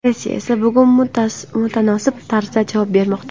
Rossiya esa bunga mutanosib tarzda javob bermoqda.